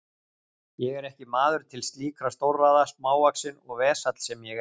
Ég er ekki maður til slíkra stórræða, smávaxinn og vesall sem ég er.